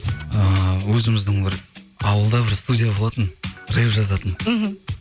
ыыы өзіміздің бір ауылда бір студия болатын рэп жазатын мхм